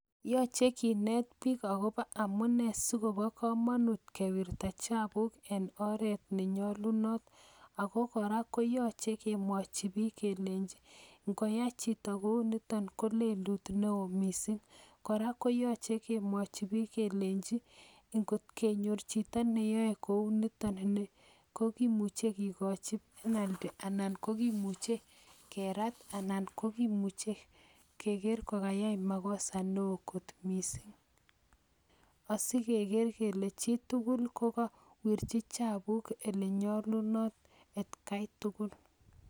Yachei kinet biik agobo amunee sikobo komonut kewirta chapuk en oret ne nyolunot. Ago kora koyachei kemwachi biik kelenji ngoyai chito kouniton koleluti neoo missing. Kora keyachi kemwachi biik kelenji ing'ot kenyor chito neyae kounitoni kogimuchei kekochi penalty anan kogimuchei kerat anan kogimuchei keger kokayai makosa neoo kot missing. Asikeger kele chitugul kokawirchi chapuk ole nyolunot etkai tugul